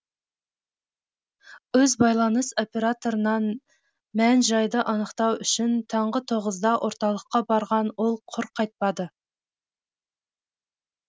өз байланыс операторынан мән жайды анықтау үшін таңғы тоғызда орталыққа барған ол құр қайтпады